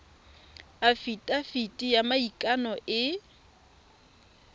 afitafiti ya maikano e e